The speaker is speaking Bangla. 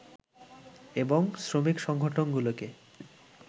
এবং শ্রমিক সংগঠনগুলোকে